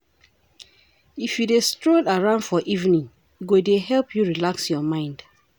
If you dey stroll around for evening, e go dey help you relax your mind.